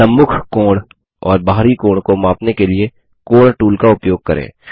सम्मुख आंतरिक कोण और बाहरी कोण को मापने के लिए कोण टूल का उपयोग करें